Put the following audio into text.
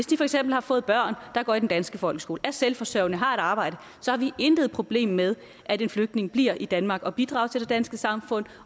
de for eksempel har fået børn der går i den danske folkeskole er selvforsørgende har et arbejde så har vi intet problem med at de flygtninge bliver i danmark og bidrager til det danske samfund